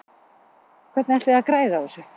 Hvernig ætlið þið að græða á þessu?